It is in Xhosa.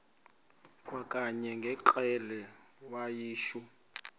kwakanye ngekrele wayishu